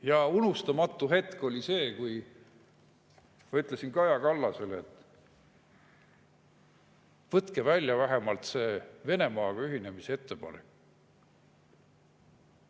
Ja unustamatu hetk oli see, kui ma ütlesin Kaja Kallasele, et võtke välja vähemalt see Venemaaga ühinemise ettepanek.